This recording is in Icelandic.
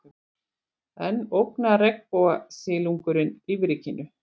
Enn ógnar regnbogasilungurinn lífríkinu